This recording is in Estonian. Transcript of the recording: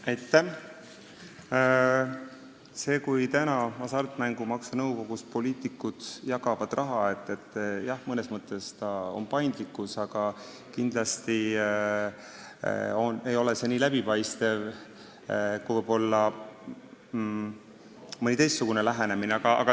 See, et praegu jagavad poliitikud Hasartmängumaksu Nõukogus raha, on mõnes mõttes paindlikkus, aga kindlasti ei ole see nii läbipaistev kui mõni teistsugune lähenemine.